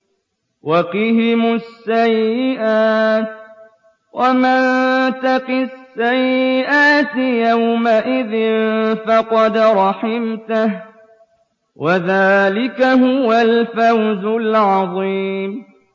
وَقِهِمُ السَّيِّئَاتِ ۚ وَمَن تَقِ السَّيِّئَاتِ يَوْمَئِذٍ فَقَدْ رَحِمْتَهُ ۚ وَذَٰلِكَ هُوَ الْفَوْزُ الْعَظِيمُ